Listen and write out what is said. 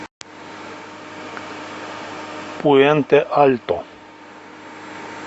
пуэнте альто